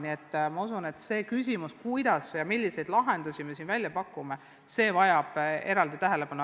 Nii et see küsimus, kuidas ja milliseid lahendusi me siin välja pakume, vajab eraldi tähelepanu.